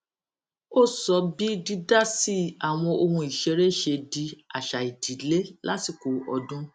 ó sọ bí dídásí àwọn ohun ìṣeré ṣe di àṣà ìdílé lásìkò ọdún